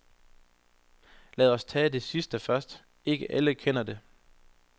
Lad os tage det sidste først, ikke alle kender det.